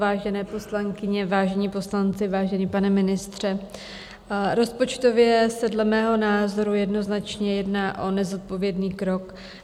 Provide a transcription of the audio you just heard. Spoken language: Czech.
Vážené poslankyně, vážení poslanci, vážený pane ministře, rozpočtově se dle mého názoru jednoznačně jedná o nezodpovědný krok.